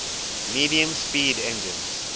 medium speed engines